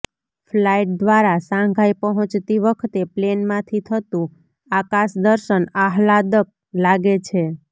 flight દ્વારા Shanghai પહોંચતી વખતે પ્લેનમાંથી થતું આકાશદર્શન આહ્લાદક લાગે છે